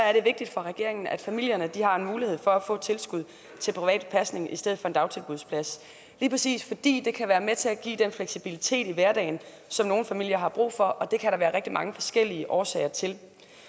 er det vigtigt for regeringen at familierne har en mulighed for at få et tilskud til privat pasning i stedet for dagtilbudspladser lige præcis fordi det kan være med til at give den fleksibilitet i hverdagen som nogle familier har brug for og det kan der være rigtig mange forskellige årsager til